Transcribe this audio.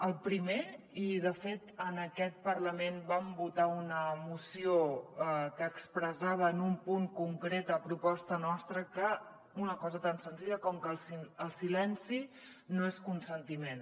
el primer i de fet en aquest parlament vam votar una moció que expressava en un punt concret a proposta nostra una cosa tan senzilla com que el silenci no és consentiment